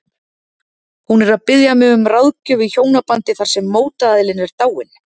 Hún er að biðja mig um ráðgjöf í hjónabandi þar sem mótaðilinn er dáinn.